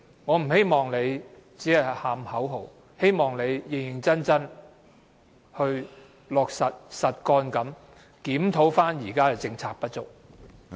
我不希望她只喊口號，希望她會認真落實，實幹地檢討現時的政策不足。